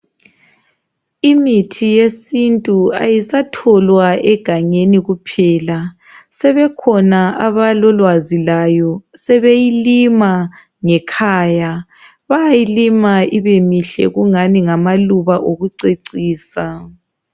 Imithi yesintu ayisatholwa egangeni kuphela sebekhona abalolwazi layo sebeyilima ngekhaya bayayilima ibemihle kungani ngamaluba okucecisa